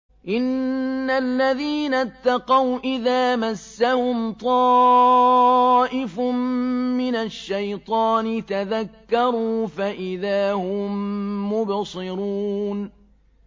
إِنَّ الَّذِينَ اتَّقَوْا إِذَا مَسَّهُمْ طَائِفٌ مِّنَ الشَّيْطَانِ تَذَكَّرُوا فَإِذَا هُم مُّبْصِرُونَ